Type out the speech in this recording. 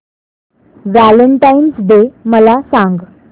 Valentine's Day मला सांग